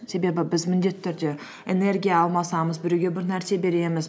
біз міндетті түрде энергия алмасамыз біреуге бір нәрсе береміз